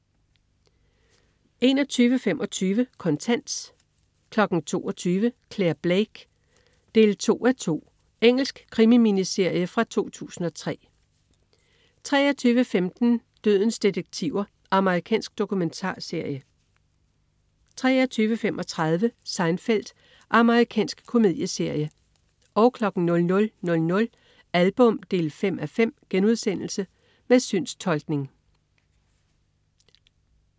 21.25 Kontant 22.00 Clare Blake 2:2. Engelsk krimi-miniserie fra 2003 23.15 Dødens detektiver. Amerikansk dokumentarserie 23.35 Seinfeld. Amerikansk komedieserie 00.00 Album 5:5.* Med synstolkning